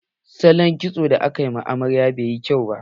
Salon kitson da aka wa amarya bai yi kyau ba.